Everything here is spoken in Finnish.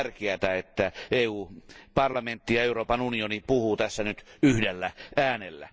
On tärkeää, että parlamentti ja Euroopan unioni puhuvat tässä nyt yhdellä äänellä.